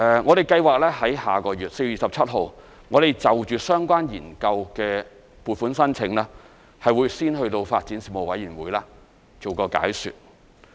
我們計劃在下個月 ，4 月27日，就相關研究的撥款申請先到發展事務委員會作出解說。